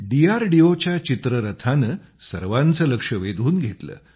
डीआरडीओच्या चित्ररथाने सर्वांचे लक्ष वेधून घेतले